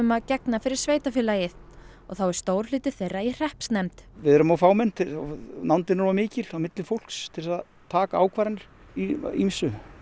að gegna fyrir sveitarfélagið og þá er stór hluti þeirra er í hreppsnefnd við erum of fámenn og nándin er of mikil milli fólks til að taka ákvarðanir í ýmsu